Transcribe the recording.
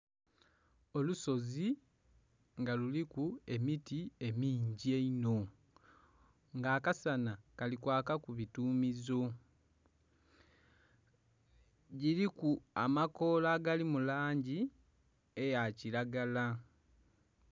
Olusozi nga luliku emiti emingi einho, nga akasana kali kwakaku bituumizo. Giliku amakoola agali mu langi eya kilagala.